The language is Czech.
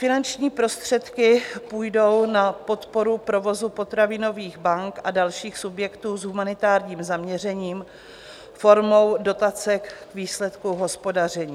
Finanční prostředky půjdou na podporu provozu potravinových bank a dalších subjektů s humanitárním zaměřením formou dotace k výsledku hospodaření.